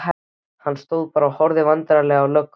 Hann stóð bara og horfði vandræðalega á löggurnar þrjár.